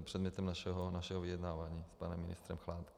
předmětem našeho vyjednávání s panem ministrem Chládkem.